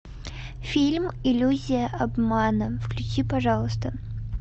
фильм иллюзия обмана включи пожалуйста